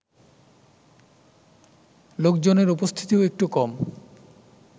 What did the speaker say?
লোকজনের উপস্থিতিও একটু কম